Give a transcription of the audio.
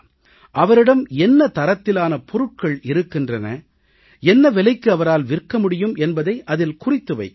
அவரிடம் என்ன தரத்திலான பொருட்கள் இருக்கின்றன என்ன விலைக்கு அவரால் விற்க முடியும் என்பதை அதில் குறித்து வைக்கலாம்